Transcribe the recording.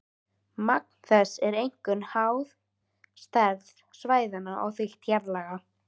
Magn þess er einkum háð stærð svæðanna og þykkt jarðlaga.